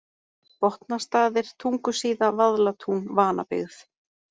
Botnastaðir, Tungusíða, Vaðlatún, Vanabyggð